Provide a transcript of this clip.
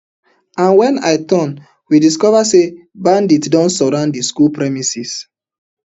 and wen i turn we discova say bandits don surround di school premises